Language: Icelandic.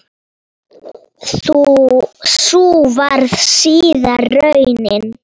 Sú varð síðar raunin.